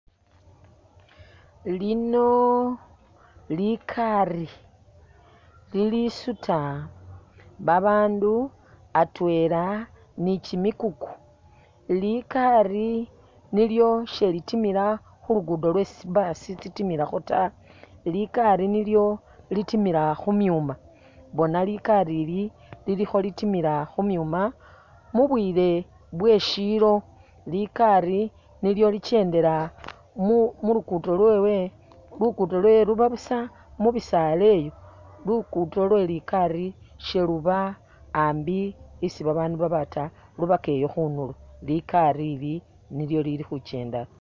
Lino likaari lilisuta babaandu atwela ni kimikuku, likaari nilyo silitimila khulugudo lwesi tsi'buss tsitimilakho taa likaari nilyo litimila khumyuma elah likaari li khalitimila khumyuma mubwile bweshilo, likaari nilyo likendela mulu'luguddo lwewe, luguddo lwewe lubabusa mubisaaleyo luguddo lwe likaari siluba ambi isi babaandu baba taa lubaka eyo khundulo likaari li nilyo Lili khukendakho